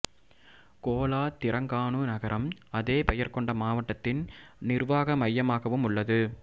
Cola Terengganu நகரம் அதே பெயர் கொண்ட மாவட்டத்தின் நிர்வாக மையமாகவும் உள்ளது